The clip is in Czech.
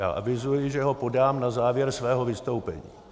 Já avizuji, že ho podám na závěr svého vystoupení.